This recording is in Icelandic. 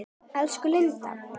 Elsku Lindi.